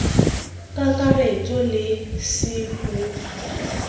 ka kakaretso le c ho